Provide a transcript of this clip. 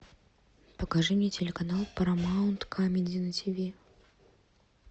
покажи мне телеканал парамаунт камеди на тиви